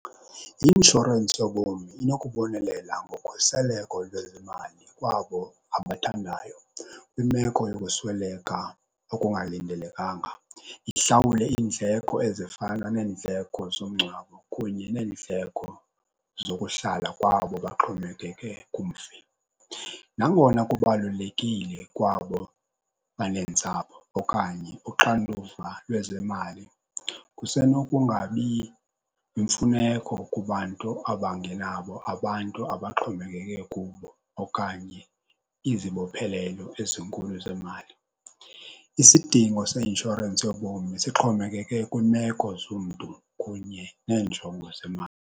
I-inshorensi yobomi inokubonelela ngokhuseleko lwezimali kwabo abathandayo kwimeko yokusweleka okungalindelekanga, ihlawule iindleko ezifana neendleko zomngcwabo kunye neendleko zokuhlala kwabo baxhomekeke kumfi. Nangona kubalulekile kwabo baneentsapho okanye uxanduva lwezemali kusenokungabi yimfuneko kubantu abangenabo abantu abaxhomekeke kubo okanye izibophelelo ezinkulu zemali. Isidingo seinshorensi yobomi sixhomekeke kwiimeko zomntu kunye neenjongo zemali.